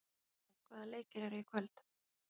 Ísold, hvaða leikir eru í kvöld?